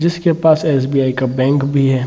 जिसके पास एस.बी.आई. का बैंक भी है।